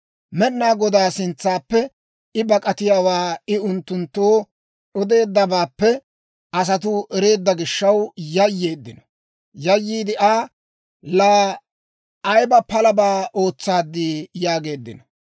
Med'inaa Godaa sintsappe I bak'atiyaawaa I unttunttoo odeeddabaappe asatuu ereedda gishaw yayyeeddino. Aa, «Laa ayba palabaa ootsaaddii?» yaageeddino.